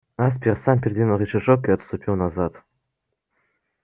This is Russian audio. аспер сам передвинул рычажок и отступил назад